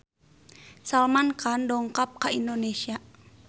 Salman Khan dongkap ka Indonesia